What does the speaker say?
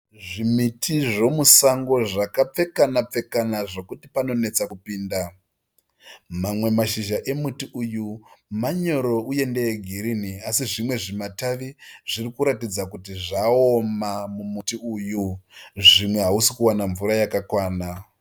Zvimiti zvomusango zvakapfekana pfekana zvokuti panonetsa kupinda. Mamwe mashizha emuti uyu manyoro uye ndeegirini asi zvimwe zvimatavi zviri kuratidza kuti zvaoma mumuti uyu zvimwe hausi kuwana mvura yakakwana.